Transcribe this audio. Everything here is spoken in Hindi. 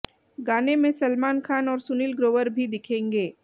गाने में सलमान खान और सुनील ग्रोवर भी दिखेंगे